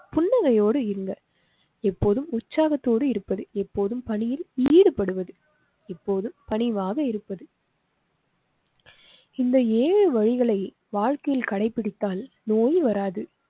புன்னகையோடு இருங்க. எப்போதும் உற்சாகத்தோடு இருப்பது எப்போதும் பணியில் ஈடுபடுவது இப்போது பணிவாக இருப்பது. இந்த ஏழு வழிகளை வாழ்க்கையில் கடைப்பிடித்தால் நோய் வராது